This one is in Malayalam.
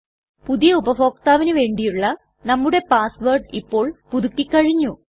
പുതിയ ഉപഭോക്താവിന് വേണ്ടിയുള്ള നമ്മുടെ പാസ് വേർഡ് ഇപ്പോൾ പുതുക്കി കഴിഞ്ഞു